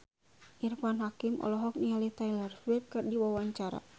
Irfan Hakim olohok ningali Taylor Swift keur diwawancara